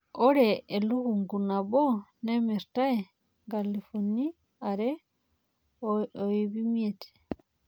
Ore elukunku nabo nemirtae nkalifuni are o iip imiet.